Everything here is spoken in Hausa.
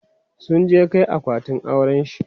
sun je Kai akwatin aurenshi